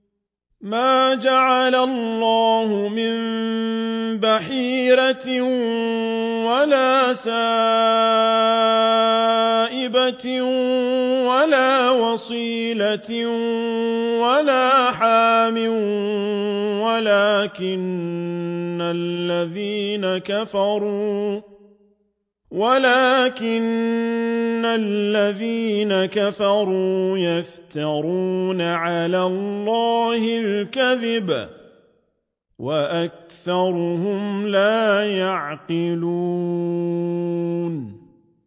مَا جَعَلَ اللَّهُ مِن بَحِيرَةٍ وَلَا سَائِبَةٍ وَلَا وَصِيلَةٍ وَلَا حَامٍ ۙ وَلَٰكِنَّ الَّذِينَ كَفَرُوا يَفْتَرُونَ عَلَى اللَّهِ الْكَذِبَ ۖ وَأَكْثَرُهُمْ لَا يَعْقِلُونَ